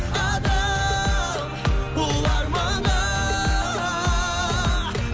адам ұлы арманға